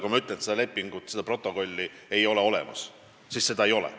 Kui ma ütlen, et seda lepingut, seda protokolli ei ole olemas, siis seda ei ole.